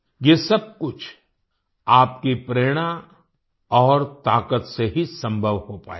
ये सब कुछ आपकी प्रेरणा और ताकत से ही संभव हो पाया है